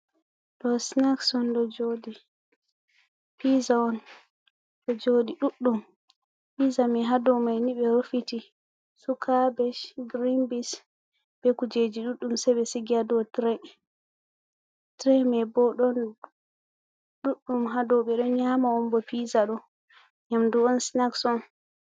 Ɗo snaks on ɗo joɗi, piza on ɗo joɗi ɗuɗɗum piza mai hadomai ni ɓe rufiti su kabage be green bins be kujeji ɗuɗɗum se be sigi hadow tre. Tire mai bo ɗon ɗuɗɗum hadow ɓeɗo nyama on bo pisa do yamdu on snacks on.